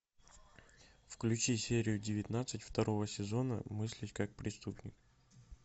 включи серию девятнадцать второго сезона мыслить как преступник